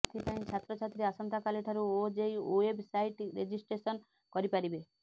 ଏଥିପାଇଁ ଛାତ୍ରଛାତ୍ରୀ ଆସନ୍ତାକାଲି ଠାରୁ ଓଜେଇଇ ୱେବସାଇଟ ରେଜିଷ୍ଟ୍ରେସନ କରିପାରିବେ